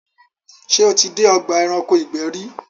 ṣé o tí dé ọgbà ẹranko ìgbẹ́ rí?